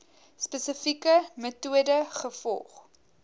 spesifieke metode gevolg